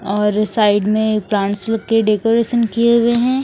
और साइड में प्रांत्स के डेकोरेसन किए गए हैं।